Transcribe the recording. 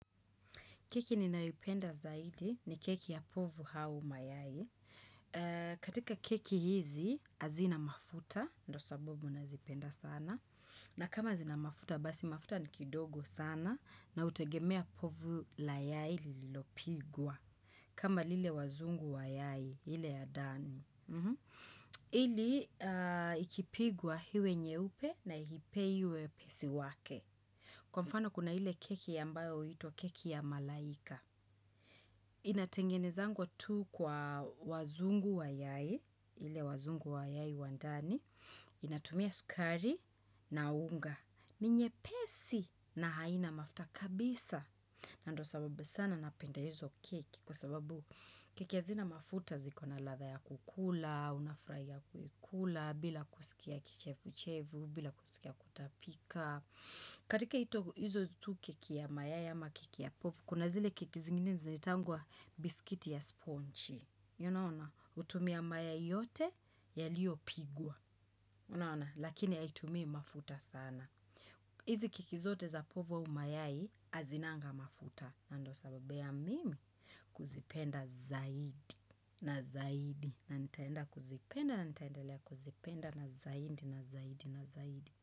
Keki ninayoipenda zaidi ni keki ya povu au mayai. Katika keki hizi, hazina mafuta, ndo sababu nazipenda sana. Na kama zina mafuta, basi mafuta ni kidogo sana na hutegemea povu la yai lililopigwa. Kama lile wazungu wayai, ile ya ndani. Ili ikipigwa iwe nyeupe na iipe wepesi wake. Kwa mfano kuna ile keki ambayo huitwa keki ya malaika inatengenezwa tu kwa wazungu wa yai, ile wazungu wa yai wa ndani. Inatumia sukari na unga, ni nyepesi na haina mafuta kabisa. Na ndio sababu sana napenda hizo keki. Kwa sababu keki hazina mafuta zikona ladha ya kukula, unafurahia kukula bila kusikia kichefu chefu bila kusikia kutapika. Katika hizo tu keki ya mayai ama keki ya pofu, kuna zile keki zingine zinaitangwa bisikiti ya sponchi. Yunona, hutumia mayai yote yaliyopigwa. Unaona, lakini haitumi mafuta sana. Hizi keki zote za povu au mayai, hazinanga mafuta. Na ndio sababu ya mimi kuzipenda zaidi na zaidi. Na nitaenda kuzipenda na nitaendelea kuzipenda na zaidi na zaidi.